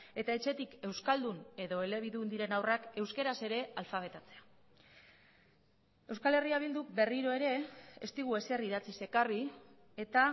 eta etxetik euskaldun edo elebidun diren haurrak euskaraz ere alfabetatzea euskal herria bilduk berriro ere ez digu ezer idatziz ekarri eta